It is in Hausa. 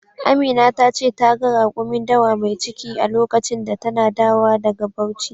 Amina ta ce ta ga rakumin dawa mai ciki a lokacin da tana dawa daga Bauchi.